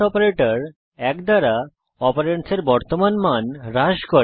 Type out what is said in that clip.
operator এক দ্বারা অপারেন্ডসের বর্তমান মান হ্রাস করে